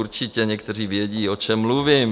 Určitě někteří vědí, o čem mluvím.